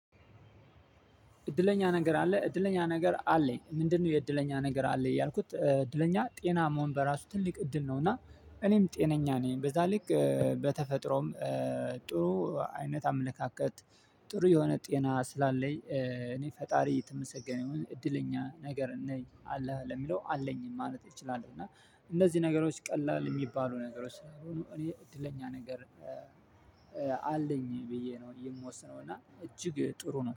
እድለኛ ነገር አለ እድለኛ ነገር አለኝ ምንድ ነው? የእድለኛ ነገር አለኝ ያልኩት እድለኛ ጤና መሆን በራሱ ትልቅ እድል ነው። እና እኔም ጤነኛ ነኝ በዛ ልክ በተፈጥሮም ጥሩ አይነት አመለካከት። ጥሩ የሆነ ጤና ስላለኝ። እኔ ፈጣሪ የተመሰገነውን እድለኛ ነገር ነኝ አለህ ለሚለው አለኝም ማለት እችላለው። እና እነዚህ ነገሮች ቀላል የሚባሉ ነገሮች ስለሆኑ እኔ እድለኛ ነገር። አለኝ ብዬ ነው እየምወስነው እና እጅግ ጥሩ ነው